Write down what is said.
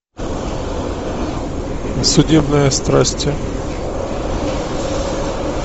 судебные страсти